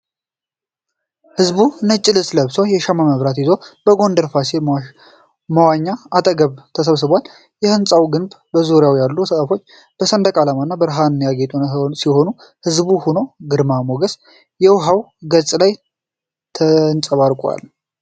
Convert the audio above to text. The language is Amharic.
ሕዝቡ ነጭ ልብስ ለብሶ፣ የሻማ መብራት ይዞ፣ በጎንደር ፋሲል መዋኛ አጠገብ ተሰብስቧል። የሕንጻው ግንብና በዙሪያው ያሉ ዛፎች በሰንደቅ ዓላማና በብርሃን ያጌጡ ሲሆን፣ ሕዝቡም ሆነ ግርማ ሞገሱ የውሃው ገጽ ላይ ተንጸባርቋል።